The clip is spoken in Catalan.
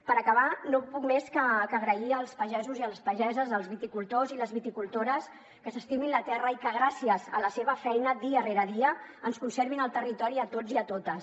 per acabar no puc més que agrair als pagesos i les pageses als viticultors i les viticultores que s’estimin la terra i que gràcies a la seva feina dia rere dia ens conservin el territori a tots i a totes